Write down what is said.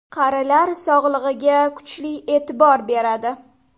Qarilar sog‘ligiga kuchli e’tibor beradi.